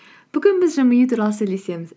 бүгін біз жымию туралы сөйлесеміз